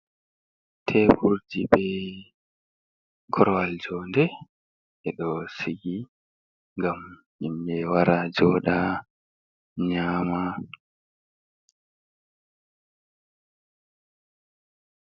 Teburji be korowal joonde, ɓe do siki ngam himɓe wara jooɗa nyaama.